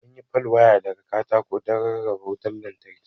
An yi pal waya daga katako don rarraba wutar lantarki.